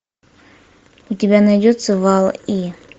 у тебя найдется валл и